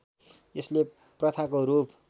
यसले प्रथाको रूप